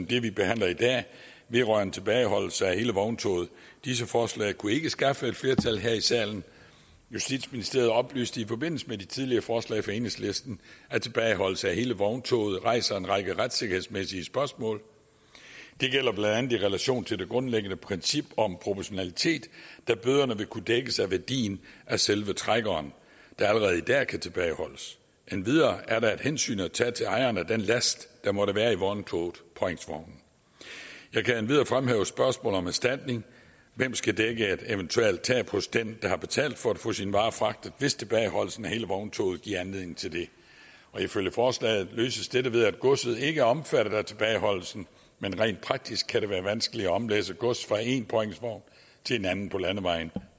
det vi behandler i dag vedrørende tilbageholdelse af hele vogntoget disse forslag kunne ikke skaffe et flertal her i salen justitsministeriet oplyste i forbindelse med de tidligere forslag fra enhedslisten at tilbageholdelse af hele vogntoget rejser en række retssikkerhedsmæssige spørgsmål det gælder blandt andet i relation til det grundlæggende princip om proportionalitet da bøderne vil kunne dækkes af værdien af selve trækkeren der allerede i dag kan tilbageholdes endvidere er der et hensyn at tage til ejeren af den last der måtte være i vogntogetpåhængsvognen jeg kan endvidere fremhæve spørgsmålet om erstatning hvem skal dække et eventuelt tab hos den der har betalt for at få sine varer fragtet hvis tilbageholdelsen af hele vogntoget giver anledning til det ifølge forslaget løses dette ved at godset ikke er omfattet af tilbageholdelsen men rent praktisk kan det være vanskeligt at omlægge gods fra én påhængsvogn til en anden på landevejen